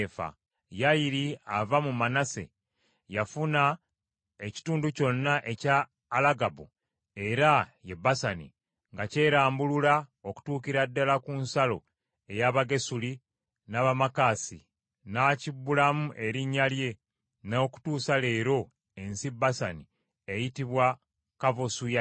Yayiri, ava mu Manase, yafuna ekitundu kyonna ekya Alugabu, era ye Basani, nga kyerambulula okutuukira ddala ku nsalo ey’Abagesuli n’Abamaakasi; n’akibbulamu erinnya lye, n’okutuusa leero ensi Basani eyitibwa Kavosu Yayiri.